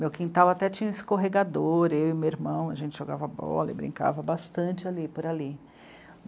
Meu quintal até tinha escorregador, eu e meu irmão, a gente jogava bola e brincava bastante ali, por ali.